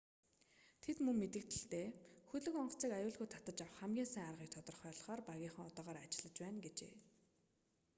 тэд мөн мэдэгдэлдээ хөлөг онгоцыг аюулгүй татаж авах хамгийн сайн аргыг тодорхойлохоор багийнхан одоогоор ажиллаж байна гэжээ